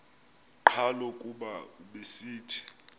qhalo kuba ubesithi